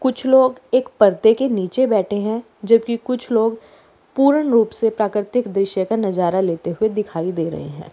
कुछ लोग एक पर्दे के नीचे बैठे है जबकि कुछ लोग पूर्ण रूप से प्राकृतिक दृश्य का नजारा लेते हुए दिखाई दे रहे है।